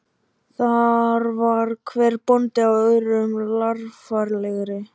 Frímann bauð honum formlega sæti og settist sjálfur við skrifborðið.